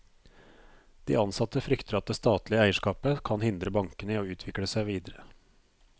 De ansatte frykter at det statlige eierskapet kan hindre bankene i å utvikle seg videre.